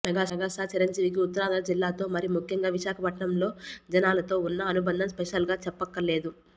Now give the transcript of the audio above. megastar Chiranjeevi కి ఉత్తరాంధ్ర జిల్లాతో మరీ ముఖ్యంగా విశాకపట్నం లో జనాలతో ఉన్న అనుబంధం స్పెషల్ గా చెప్పక్కరలేదు